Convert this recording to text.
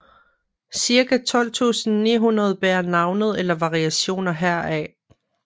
Cirka 12 900 bærer navnet eller variationer heraf